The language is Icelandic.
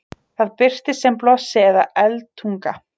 það birtist sem blossi eða eldtunga